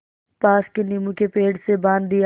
पास के नीबू के पेड़ से बाँध दिया